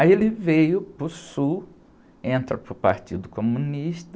Aí ele veio para o Sul, entra para o Partido Comunista